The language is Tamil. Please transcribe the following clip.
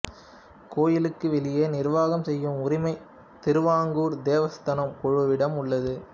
கோயிலுக்கு வெளியே நிர்வாகம் செய்யும் உரிமை திருவாங்கூர் தேவஸ்தானம் குழுவிடம் உள்ளது